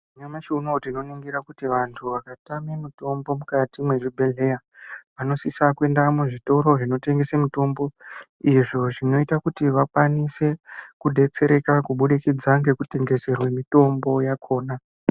Nyamashi unoo tinoningira kuti vantu vakatame mutombo mukati mwezvibhehleya vanosisa kuinda muzvitoro zvinotengese mitombo. Izvo zvinoita kuti vakwanise kudetsereka kubudikidza ngekutengeserwe mutombo yakona.